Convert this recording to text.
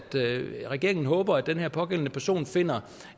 regeringen håber at den her pågældende person finder